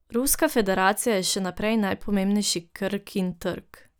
Ruska federacija je še naprej najpomembnejši Krkin trg.